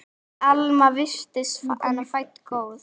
En Alma virtist fædd góð.